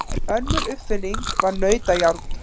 Önnur uppfinning var nautajárn.